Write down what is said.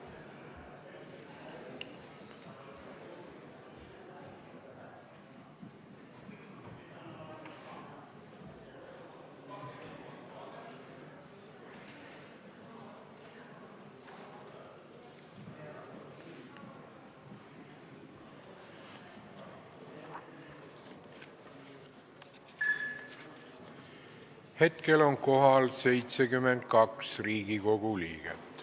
Kohaloleku kontroll Hetkel on kohal 72 Riigikogu liiget.